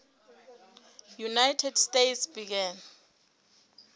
united states began